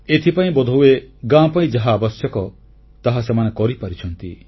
ଏଥିପାଇଁ ବୋଧହୁଏ ଗାଁ ପାଇଁ ଯାହା ଆବଶ୍ୟକ ତାହା ସେମାନେ କରିପାରିଛନ୍ତି